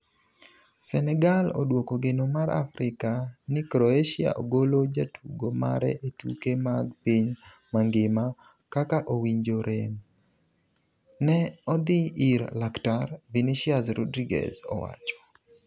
Senegal oduoko geno mar Afrika ni Croatia golo jatugo mare e tuke mag piny mangima "Kaka owinjo rem, ne odhi ir laktar", Vinicius Rodrigues owacho.